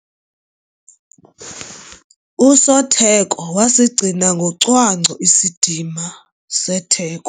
Usotheko wasigcina ngocwangco isidima setheko.